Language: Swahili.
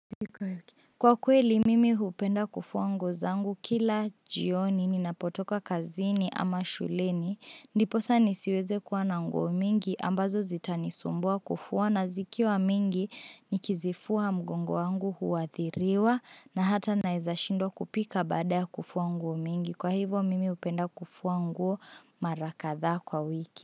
Kwa kweli mimi upenda kufuwa nguo zangu kila jioni ninapotoka kazini ama shuleni. Ndiposa nisiweze kuwa na nguo mingi ambazo zitanisumbua kufuwa na zikiwa mingi nikizifuwa mgongo wangu huwathiriwa na hata naeza shindwa kupika bada kufuwa nguo mingi. Kwa hivo mimi upenda kufuwa nguo mara katha kwa wiki.